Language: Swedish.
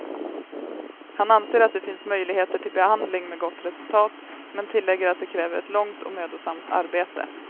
Han anser att det finns möjligheter till behandling med gott resultat, men tillägger att det kräver ett långt och mödosamt arbete.